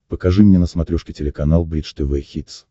покажи мне на смотрешке телеканал бридж тв хитс